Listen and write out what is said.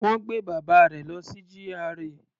Wọ́n gbé bàbá rẹ̀ lọ sí GRA.